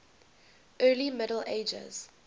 early middle ages